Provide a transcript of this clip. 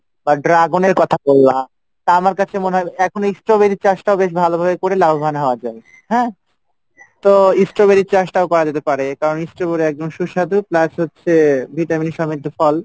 বা dragon এর কথা মল্লাম আমার কাছে মনে হয় এখন এই সবজি চাষটা করেও বেশ লাভবান তো strawberry চাষটা যদি করে কারন হচ্ছে strawberry সুস্বাদু এবং vitamin থাকে